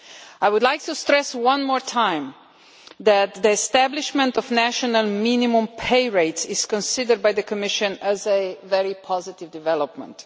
I would like to stress once more that the establishment of national minimum pay rates is considered by the Commission as a very positive development.